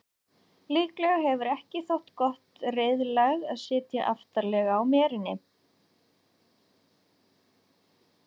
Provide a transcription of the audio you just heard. líklega hefur ekki þótt gott reiðlag að sitja aftarlega á meri